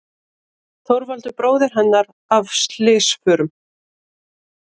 Þorvaldur bróðir hennar af slysförum.